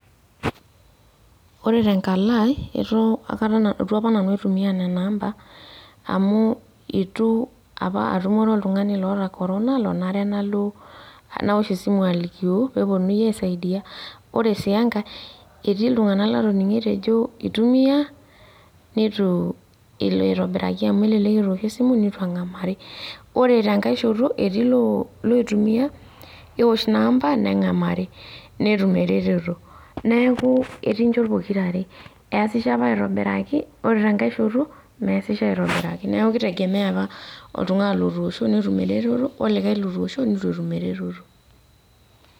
ore tenkalo aii ietu aikata itu apa nanu aitumia nena ampa amu itu apa atumore oltung'ani oota corona lonare nalo nawosh esimu alikio peeponunui aisaidia ore sii enkae etii iltung'anak latoning'o etejo eitumiya neitu elo aitobiraki amu elelek etoosho esimu neitu eng'amari ore tenkae shoto etii iloitumia newosh ina ampa neng'amari netum ereteto neeku etii inchot pokirare eeasisho apa aitobiraki ore tenkae shoto meesisho aitobiraki neeku keitegemea apa oltung'ani otoosho netum eretoto olikae lotoosho neitu etum ereretoto.